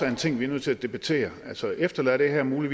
en ting vi er nødt til at debattere efterlader det her nogle